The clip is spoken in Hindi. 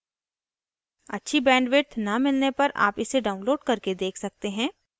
अच्छी bandwidth न मिलने पर आप इसे download करके देख सकते हैं